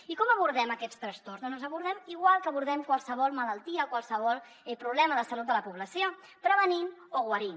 i com abordem aquests trastorns doncs els abordem igual que abordem qualsevol malaltia qualsevol problema de salut de la població prevenint o guarint